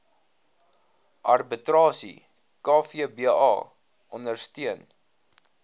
arbitrasie kvba ondersteun